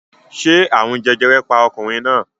Ṣé àrùn jẹjẹrẹ pa ọkùnrin náà?